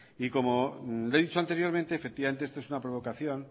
como le he dicho anteriormente efectivamente esto es una provocación